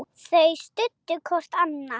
Þau studdu hvort annað.